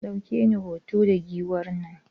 Ka ɗauke ni hoto da Giwar nan?